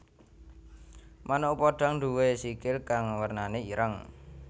Manuk podhang nduwé sikil kang wernané ireng